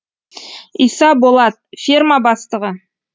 иса болат ферма бастығы